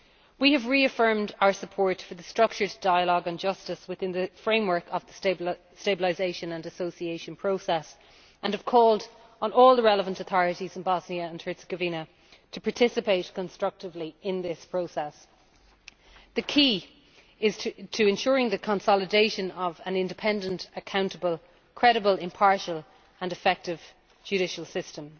We have reaffirmed our support for the Structured Dialogue on Justice within the framework of the Stabilisation and Association Process and have called on all the relevant authorities of Bosnia and Herzegovina to participate constructively in this process. The key is to ensure the consolidation of an independent, accountable, credible, impartial and efficient judicial system.